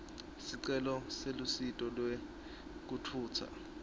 sicelo selusito lwekutfutsa